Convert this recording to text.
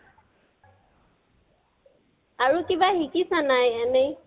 আৰু কিবা শিকিছানা নাই এনে?